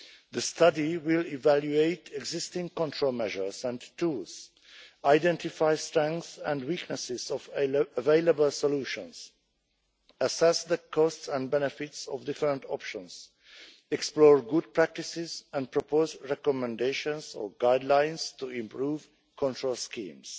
The study will evaluate existing control measures and tools, identify the strengths and weaknesses of available solutions, assess the costs and benefits of different options, explore good practices and propose recommendations or guidelines to improve control schemes.